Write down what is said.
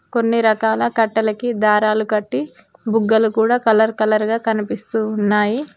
కొన్ని రకాల కట్టలకి దారాలు కట్టి బుగ్గలు కూడా కలర్ కలర్ గా కనిపిస్తూ ఉన్నాయి.